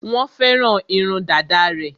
Wọ́n fẹ́ràn irun dàda rẹ̀.